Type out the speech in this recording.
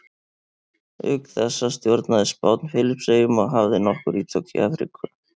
Auk þessa stjórnaði Spánn Filippseyjum og hafði nokkur ítök í Afríku.